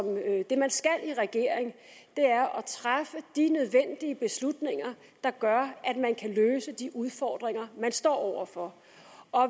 det man skal i en regering er at træffe de nødvendige beslutninger der gør at man kan løse de udfordringer man står over for